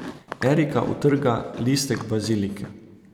Erika utrga listek bazilike.